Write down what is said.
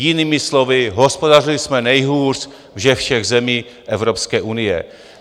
Jinými slovy - hospodařili jsme nejhůř ze všech zemí Evropské unie.